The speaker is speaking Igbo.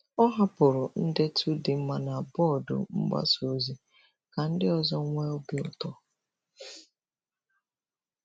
Ọ hapụrụ ndetu dị mma na bọọdụ mgbasa ozi ka ndị ọzọ nwee obi ụtọ.